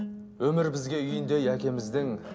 өмір бізге үйіндей әкеміздің